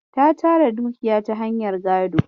Ta tara dukiya ta hanyar gado.